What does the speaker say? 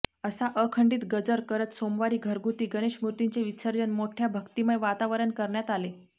असा अखंडीत गजर करत सोमवारी घरगुती गणेशमूर्तींचे विसर्जन मोठ्या भक्तिमय वातावरण करण्यात आले